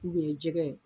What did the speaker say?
U ye jɛgɛ ye